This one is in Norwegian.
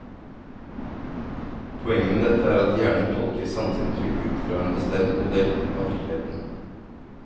Poenget med dette er at hjernen tolker sanseinntrykk ut fra en bestemt modell av virkeligheten.